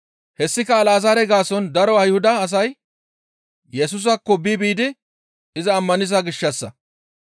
Hessika Alazaare gaason daro Ayhuda asay Yesusaakko bi biidi iza ammaniza gishshassa.